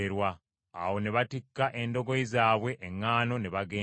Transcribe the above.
Awo ne batikka endogoyi zaabwe eŋŋaano ne bagenda.